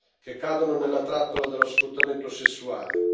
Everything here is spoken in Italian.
che cadono nella trappola dello sfruttamento sessuale.